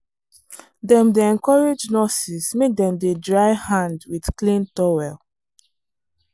dem dey encourage nurses make dem dey dry hand with clean towel.